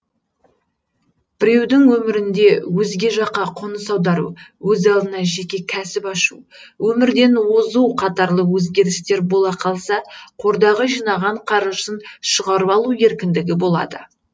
біреудің өмірінде өзге жаққа қоныс аудару өз алдына жеке кәсіп ашу өмірден озу қатарлы өзгрістер бола қалса қордағы жинаған қаржысын шығарып алу еркіндігі болады